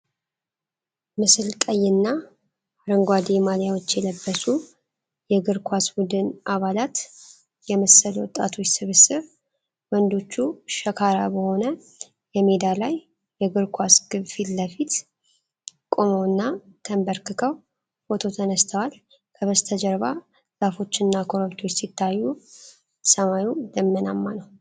ምስል ቀይና አረንጓዴ ማሊያዎች የለበሱ የእግር ኳስ ቡድን አባላት የመሰሉ ወጣቶች ስብስብ ። ወንዶቹ ሸካራ በሆነ የሜዳ ላይ የእግር ኳስ ግብ ፊት ለፊት ቆመውና ተንበርክከው ፎቶ ተነስተዋል። ከበስተጀርባ ዛፎችና ኮረብታዎች ሲታዩ፣ ሰማዩ ደመናማ ነው።